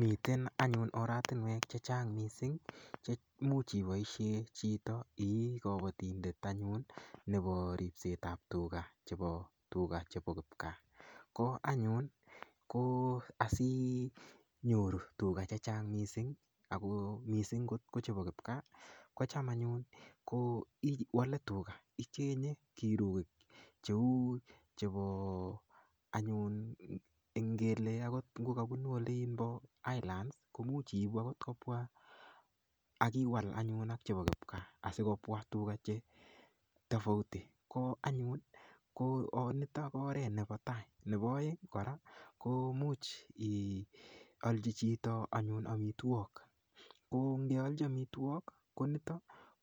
Miten anyun oratinwek chechang mising chemuch iboishe chito ii kobotindet anyun nepo ripset ap tuka chepo kipkaa ko anyun ko asinyoru tuka chechang mising ako mising kot kochepo kipkaa kocham anyun ko iwale tuka icheng'e kirukik cheu chepo anyun ngele akot ngokapunu olinpo highland komuch iipu akot kopwa akiwal anyun ak chepo kipkaa asikopwa tuka chetofauti ko anyun nito ko oret nepo tai nepo oeng kora ko much ialchi chito anyun amitwok ko ngealchi amitwok konito